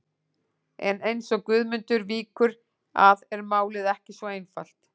En eins og Guðmundur víkur að er málið ekki svo einfalt.